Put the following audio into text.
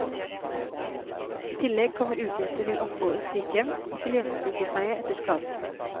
I tillegg kommer utgifter til opphold i sykehjem og til hjemmesykepleie etter skaden.